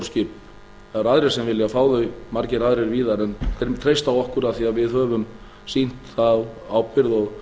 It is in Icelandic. skip það eru aðrir sem vilja fá þau margir aðrir víðar en þeir treysta okkur af því að við höfum sýnt þar ábyrgð og